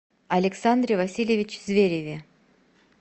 александре васильевиче звереве